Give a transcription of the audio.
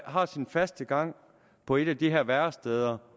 har sin faste gang på et af de her væresteder